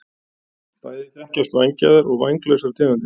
Bæði þekkjast vængjaðar og vænglausar tegundir.